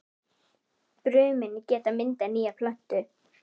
Brumin geta myndað nýja plöntu.